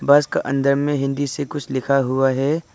बस के अंदर में हिंदी से कुछ लिखा हुआ है।